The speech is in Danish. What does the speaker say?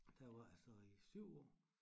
Dér var jeg så i 7 år